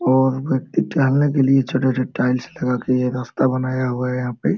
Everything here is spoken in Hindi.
और व्यक्ति टहलने के लिए छोटा - छोटा सा टाइल्स लगा के ये रास्ता बनाया हुआ है यहाँ पे।